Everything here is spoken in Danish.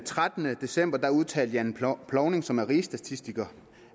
trettende december udtalte jan plovsing som er rigsstatistiker